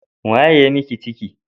Wa ya yi miki ciki?